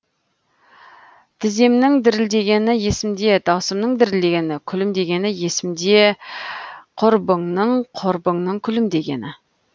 тіземнің дірілдегені есімде даусымның дірілдегені күлімдегені есімде құрбыңның құрбыңның күлімдегені